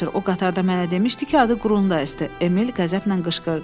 O qatarda mənə demişdi ki, adı Qrundayzdir, Emil qəzəblə qışqırdı.